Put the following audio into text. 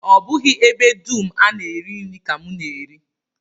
Ọ bụghị ebe dum a na-eri nri ka m na-eri